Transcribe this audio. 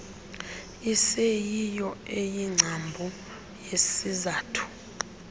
iseyiyo eyingcambu yesizathu